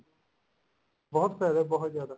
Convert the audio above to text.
ਬਹੁਤ ਪੈਸਾ ਬਹੁਤ ਜਿਆਦਾ